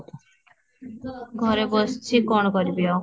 ଘରେ ବସିଛି କଣ କରିବି ଆଉ